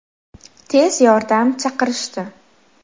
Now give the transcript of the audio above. Tez yordam chaqirishdi.